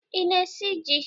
Ị na-esi ji?